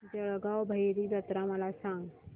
जळगाव भैरी जत्रा मला सांग